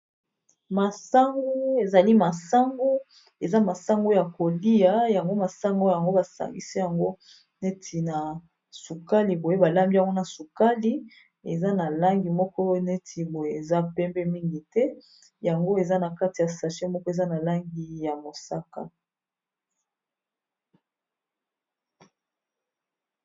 Masangu ezali masango eza masango ya kolia yango masango yango ba sangisi yango neti na sukali boye balambi yango na sukali eza na langi moko neti boye eza pembe mingi te yango eza na kati ya sachet moko eza na langi ya mosaka.